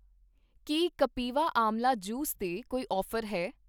ਕੀ ਕਪਿਵਾ ਆਂਵਲਾ ਜੂਸ 'ਤੇ ਕੋਈ ਔਫ਼ਰ ਹੈ?